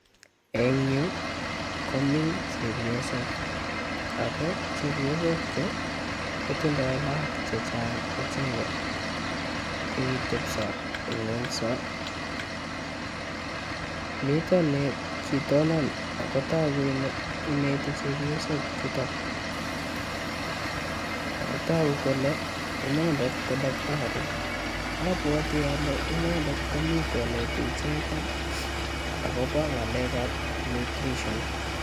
Eng' yu, komi chepyosok. Ako chepyosok chu, kotindai lagok chechang' icheket. Kokitepso, eng' ng'uny so. Mitoi ne kitonon ak ko togu ineti chepyosok chuton. Togu kole inendet ko daktari. Abwati ale inendet komii koneti icheket akoba ngalekab nutrition.